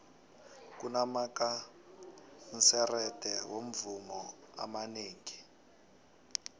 kunamakanserete womvumo amanengi